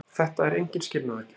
Þetta er engin skilnaðargjöf.